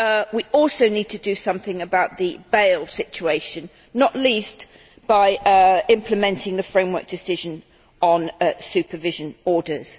We also need to do something about the bail situation, not least by implementing the framework decision on supervision orders.